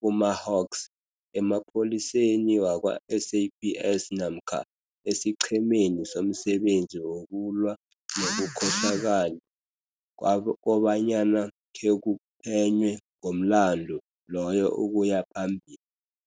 kuma-HAWKS, emapholiseni wakwa-SAPS namkha esiQhemeni somSebenzi wokuLwa nobuKhohlakali kobanyana khekuphenywe ngomlandu loyo ukuya phambili.